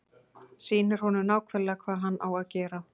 Sýnir honum nákvæmlega hvað hann á að gera.